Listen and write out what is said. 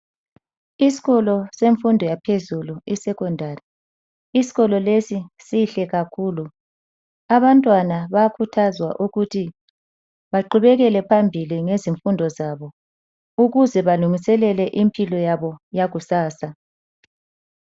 Isikolo semfundo yaphezulu isecondary, isikolo lesi sinhle kakhulu . Abantwana bayakhuthazwa ukuthi baqhubekele phambili ngezifundo zabo ukuze balungiselele impilo yabo yakusasa.